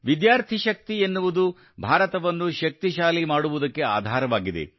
ವಿದ್ಯಾರ್ಥಿ ಶಕ್ತಿ ಎನ್ನುವುದು ಭಾರತವನ್ನು ಶಕ್ತಿಶಾಲಿ ಮಾಡುವುದಕ್ಕೆ ಆಧಾರವಾಗಿದೆ